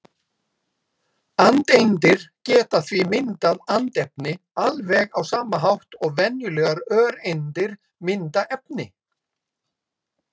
Andeindir geta því myndað andefni alveg á sama hátt og venjulegar öreindir mynda efni.